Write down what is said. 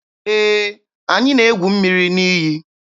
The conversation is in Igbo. Ee, anyị na-egwu mmiri n'iyi.